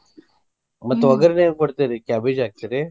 ಮತ್ತ ಒಗ್ಗರಣಿ ಹೆಂಗ ಕೊಡ್ತೇರಿ? cabbage ಹಾಕ್ತೇರಿ?